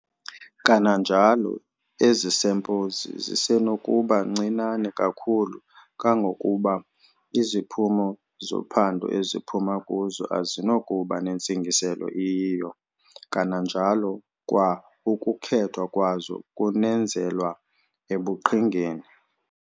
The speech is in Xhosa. Kananjalo, ezi sample zisenokuba ncinane kakhulu kangangokuba iziphumo zophando eziphuma kuzo azinakuba nantsingiselo iyiyo, kananjalo kwa ukukhethwa kwazo kunenzelwa ebuqhingeni.